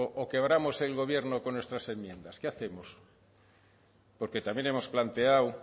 o quebramos el gobierno con nuestras enmiendas qué hacemos porque también hemos planteado